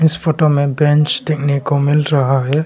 इस फोटो में बेंच डेखने को मिल रहा है।